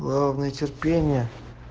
главное терпение